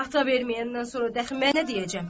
Ata verməyəndən sonra dəxi mən nə deyəcəm?